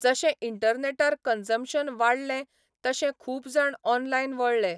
जशें इंटरनॅटार कन्ज्मशन वाडलें तशें खूब जाण ऑनलायन वळले